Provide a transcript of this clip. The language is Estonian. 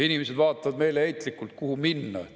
Inimesed vaatavad meeleheitlikult, kuhu minna.